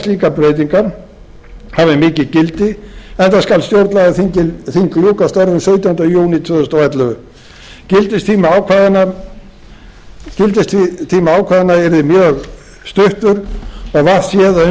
slíkar breytingar hafi mikið gildi enda skal stjórnlagaþing ljúka störfum sautjánda júní tvö þúsund og ellefu gildistími ákvæðanna yrði mjög stuttur og vart séð að um